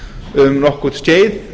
um nokkurt skeið